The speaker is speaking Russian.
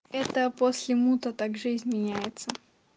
это после мута так жизнь меняется